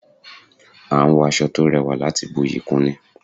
A n wọ aṣọ to rẹwà láti buyi kún ni